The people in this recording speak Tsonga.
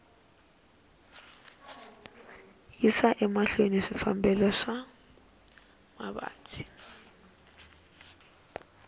yisa emahlweni swikambelo swa mavabyi